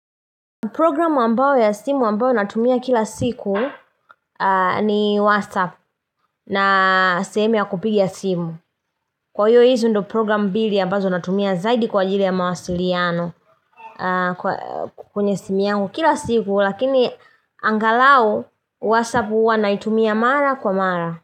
Programu ambayo ya simu ambayo natumia kila siku ni WhatsApp na sehemu ya kupiga simu. Kwa hio hizo ndio programu mbili ambazo natumia zaidi kwa ajili ya mawasiliano kwenye simu yangu kila siku lakini angalau WhatsApp huwa naitumia mara kwa mara.